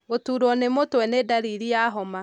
gũturwo nĩ mũtwe nĩ dariri ya homa.